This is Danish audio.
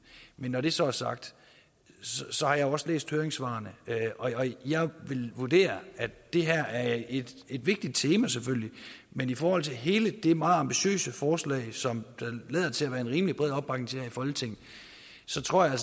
men når det så er sagt har jeg også læst høringssvarene og jeg vil vurdere at det her er et vigtigt tema selvfølgelig men i forhold til hele det meget ambitiøse forslag som der lader til at være en rimelig bred opbakning til her i folketinget så tror jeg